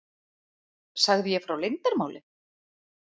Sagði ég frá leyndarmáli?